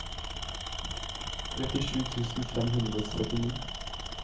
trettisju tusen fem hundre og syttini